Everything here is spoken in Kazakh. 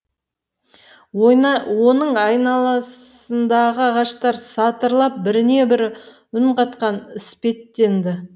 оның айналасындағы ағаштар сатырлап біріне бірі үн қатқан іспеттенді